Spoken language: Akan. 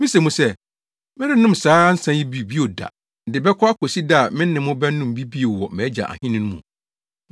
Mise mo sɛ, merennom saa nsa yi bi bio da, de bɛkɔ akosi da a me ne mo bɛnom bi bio wɔ mʼAgya Ahenni no mu.”